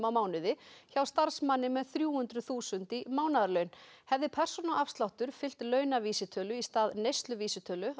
á mánuði hjá starfsmanni með þrjú hundruð þúsund krónur í mánaðarlaun hefði persónuafsláttur fylgt launavísitölu í stað neysluvísitölu